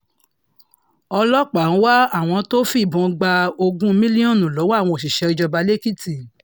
ọlọ́pàá ń wá àwọn tó fìbọn gba ogún mílíọ̀nù lọ́wọ́ àwọn òṣìṣẹ́ ìjọba èkìtì